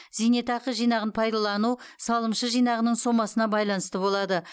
зейнетақы жинағын пайдалану салымшы жинағының сомасына байланысты болады